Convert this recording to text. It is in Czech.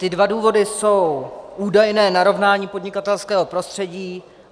Ty dva důvody jsou údajné narovnání podnikatelského prostředí.